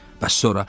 Bəs sonra?